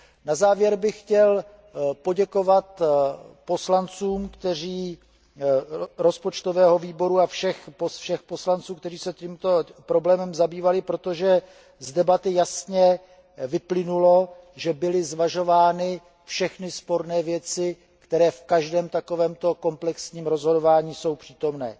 Na závěr bych chtěl poděkovat poslancům Rozpočtového výboru a všem poslancům, kteří se tímto problémem zabývali, protože z debaty jasně vyplynulo, že byly zvažovány všechny sporné věci, které jsou v každém takovémto komplexním rozhodování přítomny.